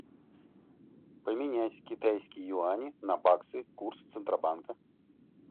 поменять китайские юани на баксы курс центробанка